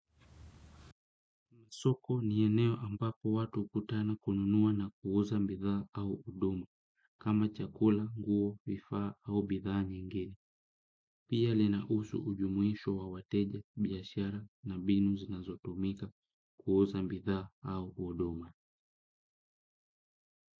Soko ni eneo ambapo watu ukutana kununua na kuuza mbithaa au uduma, kama chakula, nguo, vifaa au bidhaa nyingine. Pia lina husu ujumuisho wa wateja, biashara na mbinu zinazotumika kuuza mbithaa au uduma.